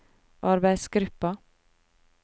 arbeidsgruppa